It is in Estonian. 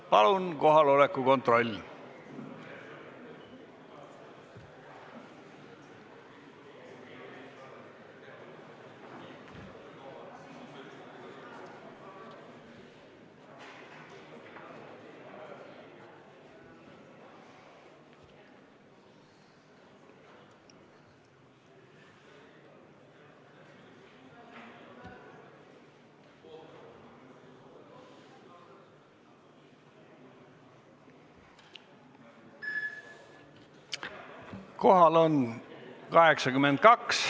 Palun nüüd kohaloleku kontroll!